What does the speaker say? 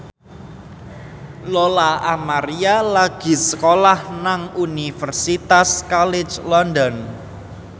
Lola Amaria lagi sekolah nang Universitas College London